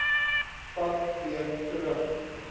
pad weer terug